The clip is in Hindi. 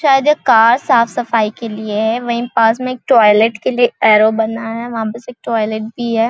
शायद ये कार साफ़ -सफाई के लिए है वही पास में एक टॉयलेट के लिए एरो बना है वहाँ पास एक टॉयलेट भी हैं ।